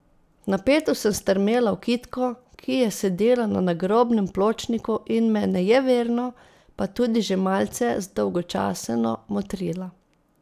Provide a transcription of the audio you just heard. Napeto sem strmela v Kitko, ki je sedela na nagrobnem pločniku in me nejeverno, pa tudi že malce zdolgočaseno motrila.